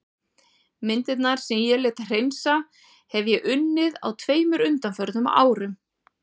Myndirnar sem ég lét hreinsa hefi ég unnið á tveimur undanförnum árum.